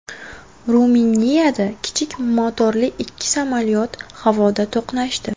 Ruminiyada kichik motorli ikki samolyot havoda to‘qnashdi.